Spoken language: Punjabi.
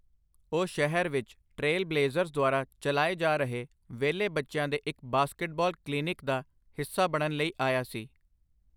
ਉਹ ਸ਼ਹਿਰ ਵਿੱਚ ਟ੍ਰੇਲ ਬਲੇਜ਼ਰਸ ਦੁਆਰਾ ਚਲਾਏ ਜਾ ਰਹੇ ਵਿਹਲੇ ਬੱਚਿਆਂ ਦੇ ਇੱਕ ਬਾਸਕਟਬਾਲ ਕਲੀਨਿਕ ਦਾ ਹਿੱਸਾ ਬਣਨ ਲਈ ਆਇਆ ਸੀ।